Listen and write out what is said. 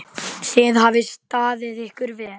Þið hafið staðið ykkur vel.